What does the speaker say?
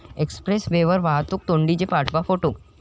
Express वेवर वाहतूक कोंडीचे पाठवा फोटो